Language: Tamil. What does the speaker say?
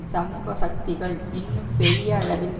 சமூக சக்திகள் இன்னும் பெரிய அளவில்